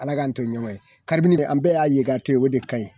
Ala k'an to ɲɔgɔn ye kabini an bɛɛ y'a ye ka to yen o de ka ɲi